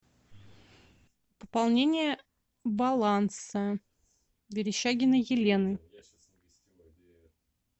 пополнение баланса верещагиной елены